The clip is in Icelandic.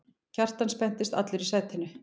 Kjartan spenntist allur í sætinu.